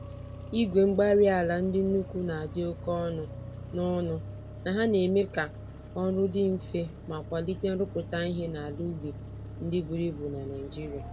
Igwe-mgbárí-ala ndị nnukwu nadi oké ọnụ, na ọnụ, na ha neme k'ọrụ dị mfe ma kwalite nrụpụta ìhè n'ala ubi ndị buru ibu na Nigeria